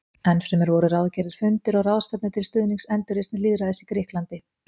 Ennfremur voru ráðgerðir fundir og ráðstefnur til stuðnings endurreisn lýðræðis í Grikklandi.